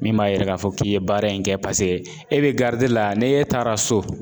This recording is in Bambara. Min b'a yira k'a fɔ k'i ye baara in kɛ paseke e be gadiɲɛn la k'e taara so.